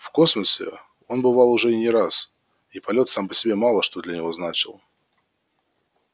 в космосе он бывал уже не раз и полёт сам по себе мало что для него значил